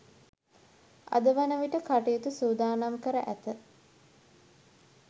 අද වන විට කටයුතු සූදානම් කර ඇත.